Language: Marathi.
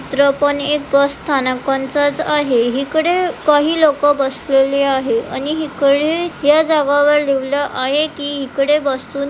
चित्र पण एक बस स्थानकांचच आहे इकडे काही लोक बसलेले आहेत आणि हिकडे या जागावर लिवल आहे की इकडे बसून --